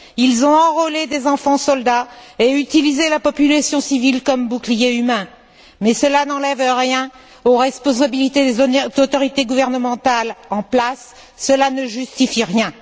Ils ont enrôlé des enfants soldats et utilisé la population civile comme bouclier humain, mais cela n'enlève rien aux responsabilités des autorités gouvernementales en place. Cela ne justifie rien.